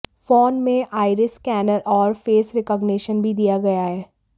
phone में iris scanner और face recognition भी दिया गया है